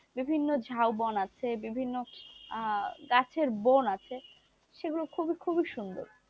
বিভিন্ন ঝাপান আছে বিভিন্ন গাছের বন আছে সেগুলো খুবই খুবই সুন্দর,